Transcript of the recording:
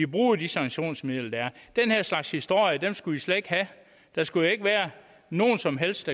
bruger de sanktionsmidler der er den her slags historier skulle vi slet ikke have der skulle ikke være nogen som helst